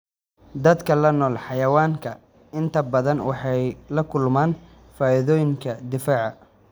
Dadka la nool xayawaanka inta badan waxay la kulmaan faa'iidooyinka difaaca.